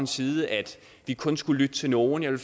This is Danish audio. side at vi kun skulle lytte til nogle jeg vil